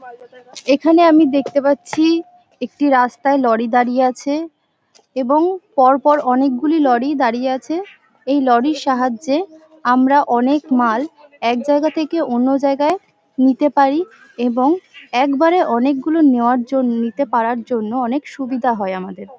এখানে আমি দেখতে পাচ্ছি একটি রাস্তায় লড়ি দাড়িয়ে আছে এবং পরপর অনেকগুলি লড়ি দাড়িয়ে আছে। এই লড়ির সাহায্যে আমরা অনেক মাল এক জায়গা থেকে অন্য জায়গায় নিতে পারি। এবং একবারে অনেকগুলো নেওয়ার জন্য নিতে পারার জন্য অনেক সুবিধা হয় আমাদের ।